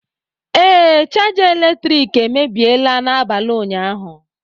Ee, chaja eletrik emebiela n'abalị ụnyaahụ